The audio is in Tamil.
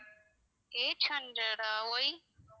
eight hundred ah why